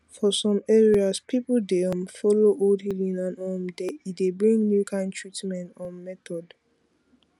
for some areas people dey um follow old healing and um e dey bring new kind treatment um method